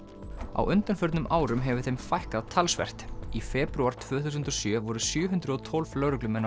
á undanförnum árum hefur þeim fækkað talsvert í febrúar tvö þúsund og sjö voru sjö hundruð og tólf lögreglumenn á